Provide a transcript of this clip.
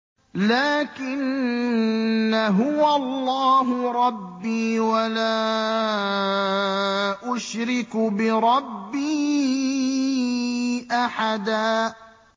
لَّٰكِنَّا هُوَ اللَّهُ رَبِّي وَلَا أُشْرِكُ بِرَبِّي أَحَدًا